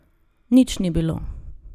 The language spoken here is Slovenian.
Nič ni bilo.